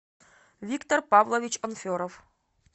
виктор павлович анферов